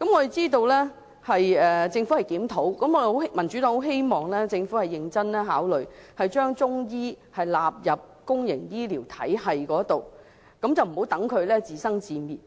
我們知道政府會進行檢討，民主黨希望政府認真考慮將中醫納入公營醫療體系，不要讓中醫自生自滅，